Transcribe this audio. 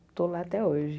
Estou lá até hoje.